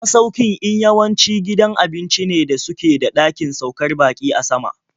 Masaukin in yawanci gidan abinci ne da suke da ɗakin saukar baƙi a sama.